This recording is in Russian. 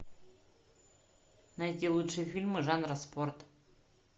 найти лучшие фильмы жанра спорт